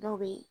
Dɔw be yen